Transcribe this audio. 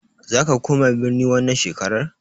Zaka koma birni wannan shekarar?